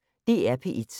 DR P1